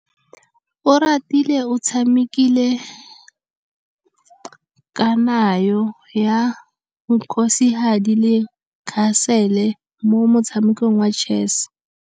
Oratile o tshamekile kananyô ya kgosigadi le khasêlê mo motshamekong wa chess.